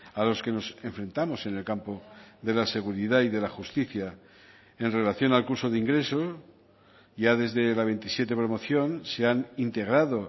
a los que nos enfrentamos en el campo de la seguridad y de la justicia en relación al curso de ingreso ya desde la veintisiete promoción se han integrado